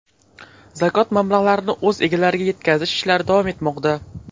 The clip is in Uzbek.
Zakot mablag‘larini o‘z egalariga yetkazish ishlari davom etmoqda.